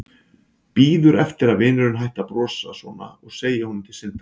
Bíður eftir að vinurinn hætti að brosa svona og segi honum til syndanna.